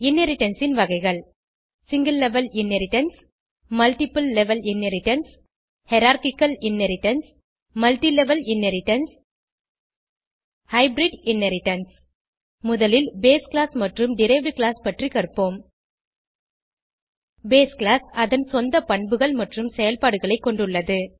inheritance ன் வகைகள் single level inheritance multiple level inheritance hierarchical inheritance multilevel inheritance hybrid inheritance முதலில் base class மற்றும் derived class பற்றி கற்போம் பேஸ் கிளாஸ் அதன் சொந்த பண்புகள் மற்றும் செயல்பாடுகளை கொண்டுள்ளது